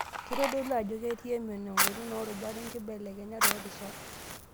Keitodolu ajo ketii emion, engolon oorubat onkibelekenyat toorishat.